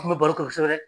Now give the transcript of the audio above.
N kun bɛ baro kɛ kosɛbɛ